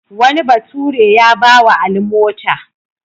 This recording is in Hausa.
Wani bature ya ba wa Ali mota.